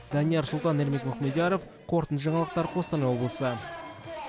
данияр сұлтан ермек мұхамедияров қорытынды жаңалықтар қостанай облысы